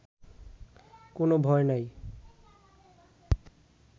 কোনো ভয় নাই